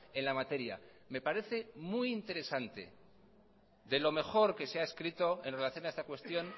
en la materia me parece muy interesante de lo mejor que se ha escrito en relación a esta cuestión